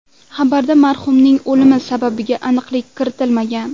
Xabarda marhumning o‘limi sababiga aniqlik kiritilmagan.